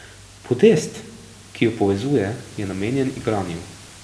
Podest, ki ju povezuje, je namenjen igranju.